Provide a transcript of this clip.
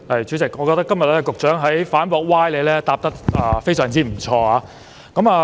主席，我覺得局長今天在反駁歪理方面表現非常不錯。